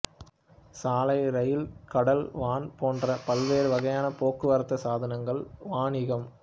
சாலை இரயில் கடல் வான் போன்ற பல்வேறு வகையான போக்குவரத்து சாதனங்கள் வாணிகம்